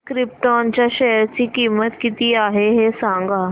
krypton च्या share ची किंमत किती आहे हे सांगा